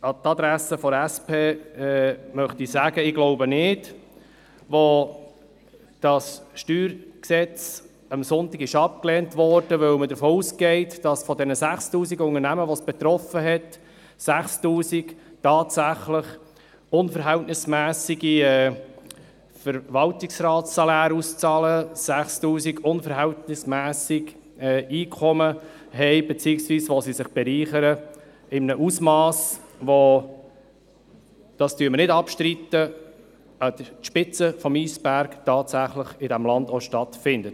An die Adresse der SP möchte ich sagen: Ich glaube nicht, dass das StG am Sonntag abgelehnt wurde, weil man davon ausging, dass von den 6000 Unternehmen die es betraf, 6000 tatsächlich unverhältnismässige Verwaltungsratssaläre auszahlen, 6000 unverhältnismässige Einkommen haben beziehungsweise sich in einem Ausmass bereichern, wie das an der Spitze des Eisbergs tatsächlich in diesem Land auch stattfindet.